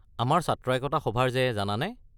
আমাৰ ছাত্ৰ একতা সভাৰ যে জানানে?